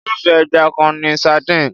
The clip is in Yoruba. Irúfé ẹja kan ni sardines.